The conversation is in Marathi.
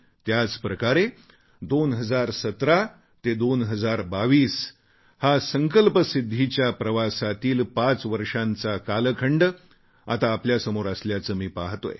त्याच प्रकारे 2017 ते 2022 हा संकल्प सिद्धीच्या प्रवासातील पाच वर्षांचा कालखंड आता आपल्यासमोर असल्याचे मी पाहतोय